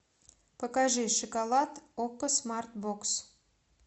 покажи шоколад окко смарт бокс